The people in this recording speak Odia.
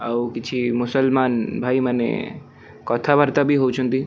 ଆଉ କିଛି ମୁସଲମାନ ଭାଇ ମାନେ କଥାବାର୍ତ୍ତା ଭି ହଉଛନ୍ତି।